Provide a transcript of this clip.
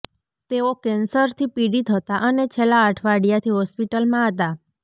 તેઓ કેન્સરથી પીડિત હતા અને છેલ્લા અઠવાડિયાથી હોસ્પિટલમાં હતા